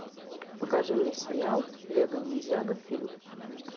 покажи мне сериал лего ниндзяго фильм